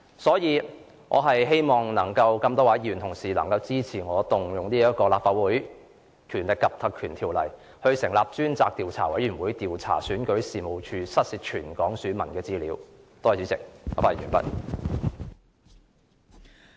因此，我希望能有多位議員支持我援引《立法會條例》成立專責委員會，以調查選舉事務處遺失全港選民資料一事。